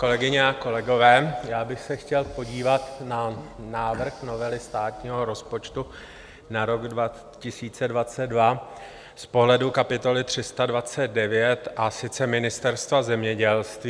Kolegyně a kolegové, já bych se chtěl podívat na návrh novely státního rozpočtu na rok 2022 z pohledu kapitoly 329, a sice Ministerstva zemědělství.